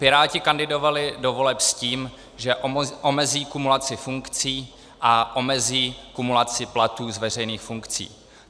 Piráti kandidovali do voleb s tím, že omezí kumulaci funkcí a omezí kumulaci platů z veřejných funkcí.